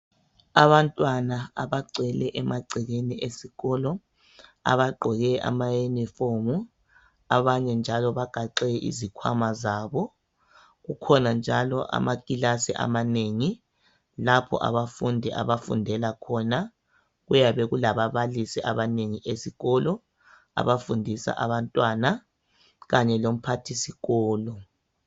Abantwana abagcwele emagcekeni esikolo, abaggoke amayunifomu, abanye njalo bagaxe izikhwama zabo, kukhona njalo amakilasi amanengi, lapho abafundi abafundela khona, kuyabe kulababalisi abanengi esikolo, abafundisa abantwana, kanye lomphathisikolo.